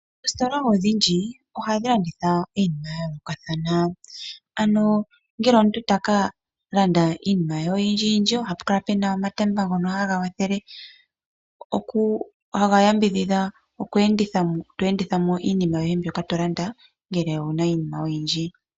Ooositola odhindji oha dhi landitha iinima ya yoolokathana ano ngele omuntu taka landa iinima ye oyindjiyindji oha pu kala puu na omatemba ngono haga wathele haga yambidhidha okweendithamo tweendithamo iinima yoye mbyoka to landa ngele owu na iinima oyindji.